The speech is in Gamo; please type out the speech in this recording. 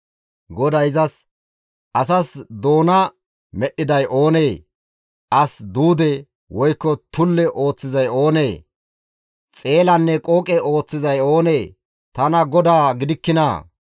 GODAY izas, «Asas doona medhdhiday oonee? As duude, woykko tulle ooththizay oonee? Xeelanne qooqe ooththizay oonee? Tana GODAA gidikkinaa?